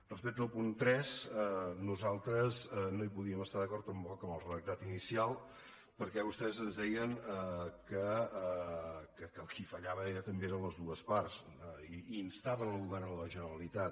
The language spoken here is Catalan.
respecte al punt tres nosaltres no podíem estar d’acord amb el redactat inicial perquè vostès ens deien que qui fallaven eren també totes dues parts i instaven el govern de la generalitat